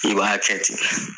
I b'a kɛ ten